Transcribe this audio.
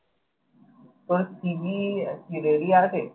তোর CV কি তৈরি আছে?